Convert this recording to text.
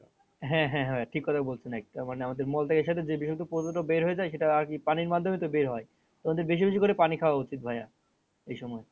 হ্যাঁ হ্যাঁ হ্যাঁ ঠিক কথা বলছেন একদম মানে আমাদের মল থেকে সেটা যে বিষাক্ত পদার্থ বের হয়ে যাই সেটা আরকি পানির মাধ্যমে তো বের হয় তো আমাদের বেশি বেশি করে পানি খাওয়া উচিত ভাইয়া এই সময়।